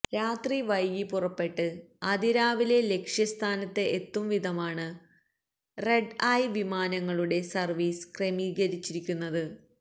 രാത്രി വൈകി പുറപ്പെട്ട് അതിരാവിലെ ലക്ഷ്യസ്ഥാനത്ത് എത്തുവിധമാണ് റെഡ് ഐ വിമാനങ്ങളുടെ സർവീസ് ക്രമീകരിച്ചിരിക്കുന്നത്